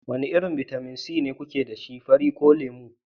wane irin bitamin C kuke da shi, fari ko lemu?